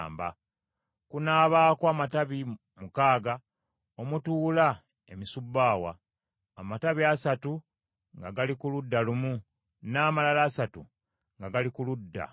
Kunaabako amatabi mukaaga omutuula emisubbaawa: amatabi asatu nga gali ku ludda lumu, n’amalala asatu nga gali ku ludda olulala.